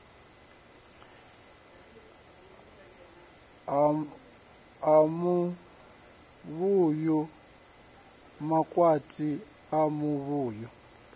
a muvhuyu makwati a muvhuyu